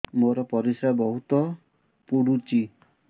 ମୋର ପରିସ୍ରା ବହୁତ ପୁଡୁଚି